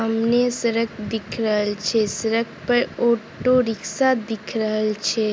सामने सड़क दिख रहल छै सड़क पर ऑटो रिक्शा दिख रहल छै।